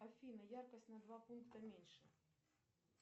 афина яркость на два пункта меньше